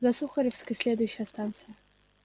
за сухаревской следующая станция